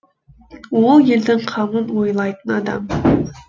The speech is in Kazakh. ол елдің қамын ойлайтын адам